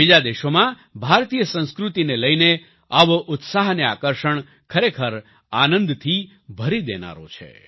બીજા દેશોમાં ભારતીય સંસ્કૃતિ ને લઈને આવો ઉત્સાહ અને આકર્ષણ ખરેખર આનંદથી ભરી દેનારો છે